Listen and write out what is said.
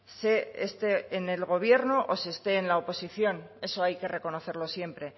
se esté en el gobierno o se esté en la oposición eso hay que reconocerlo siempre